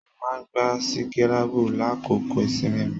Mo máa n gbà sikirabu l'akoko ìsinmi mí